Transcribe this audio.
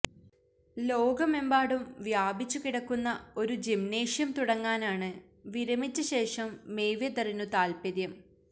ലോകമെമ്പാടും വ്യാപിച്ചു കിടക്കുന്ന ഒരു ജിംനേഷ്യം തുടങ്ങാനാണ് വിരമിച്ച ശേഷം മെയ്വെതറിനു താല്പ്പര്യം